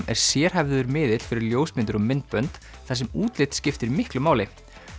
er sérhæfður miðill fyrir ljósmyndir og myndbönd þar sem útlit skiptir miklu máli